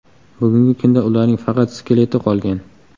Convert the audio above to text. Bugungi kunda ularning faqat skeleti qolgan.